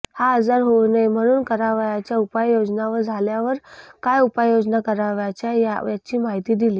हा आजार होऊ नये म्हणून करावयाच्या उपाययोजना व झाल्यावर काय उपाययोजना करावयाच्या याची माहिती दिली